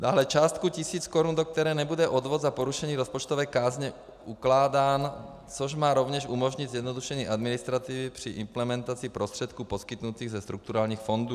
Dále částku tisíc korun, do které nebude odvod za porušení rozpočtové kázně ukládán, což má rovněž umožnit zjednodušení administrativy při implementaci prostředků poskytnutých ze strukturálních fondů.